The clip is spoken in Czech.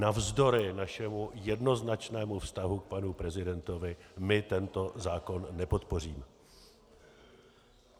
Navzdory našemu jednoznačnému vztahu k panu prezidentovi - my tento zákon nepodpoříme.